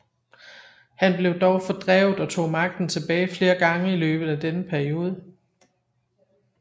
Han blev dog fordrevet og tog magten tilbage flere gange i løbet af denne periode